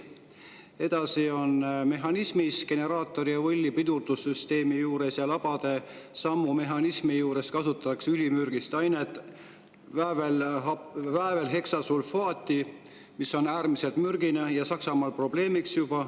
Edasi, mehhanismis generaatorivõlli pidurdussüsteemi juures ja labade sammu mehhanismi juures kasutatakse ülimürgist ainet väävelheksa, mis on äärmiselt mürgine ja Saksamaal probleemiks.